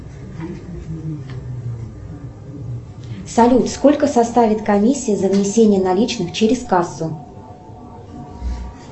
салют сколько составит комиссия за внесение наличных через кассу